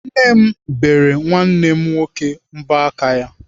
Nne m bere nwanne m nwoke mbọ aka ya.